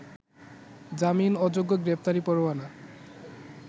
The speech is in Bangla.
জামিন অযোগ্য গ্রেপ্তারি পরোয়ানা